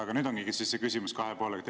Aga nüüd ongi see küsimus kahe poolega.